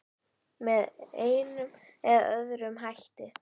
Með einum eða öðrum hætti.